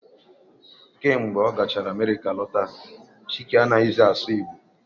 Kemgbe ọ gachara Amerịka lọta, Chike anaghị zi asụ Igbo